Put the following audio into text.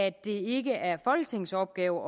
at det ikke er folketingets opgave